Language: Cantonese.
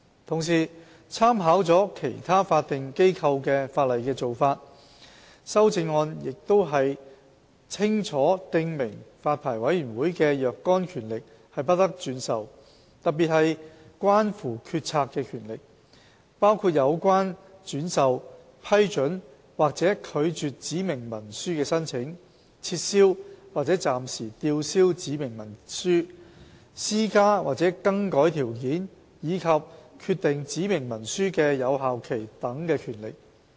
同時，參考了其他法定機構的法例的做法，修正案亦清楚訂明發牌委員會的若干權力不得轉授，特別是關乎決策的權力，包括有關轉授、批准或拒絕指明文書的申請、撤銷或暫時吊銷指明文書、施加或更改條件，以及決定指明文書的有效期等權力。